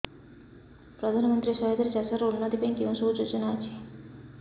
ପ୍ରଧାନମନ୍ତ୍ରୀ ସହାୟତା ରେ ଚାଷ ର ଉନ୍ନତି ପାଇଁ କେଉଁ ସବୁ ଯୋଜନା ଅଛି